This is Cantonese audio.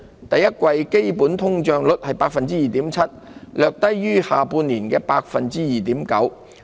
第一季基本通脹率為 2.7%， 略低於去年下半年的 2.9%。